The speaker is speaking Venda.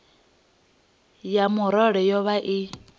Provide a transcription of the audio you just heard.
ya murole yo vha i